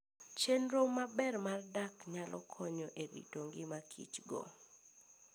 Chenro maber mar dak nyalo konyo e rito ngima Kichgo.